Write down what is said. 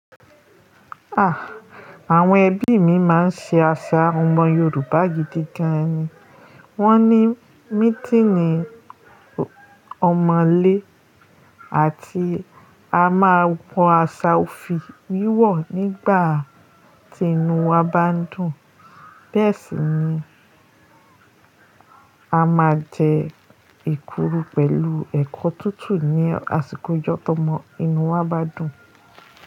Àh! Àwọn ẹbí mi máa ń ṣe àṣà ọmọ Yorùbá yìí gidigan ni. Wọ́n ní mítínì ọmọ̀lé àti a máa wọ aṣọ òfì wíwọ̀ nígbà tí inú wa bá n dùn. Bẹ́ẹ̀ sì ni a máa jẹ èkuru pẹ̀lú ẹ̀kọ tútù ní àsìkò ọjọ́ tó mọ inú wa bá dùn.